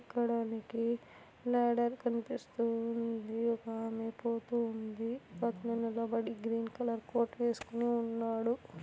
ఎక్కడానికి లాడర్ కనిపిస్తూ ఉంది ఒకామే పోతూ ఉంది పక్కనే నిలబడి గ్రీన్ కలర్ కోట్ వేసుకొని ఉన్నాడు.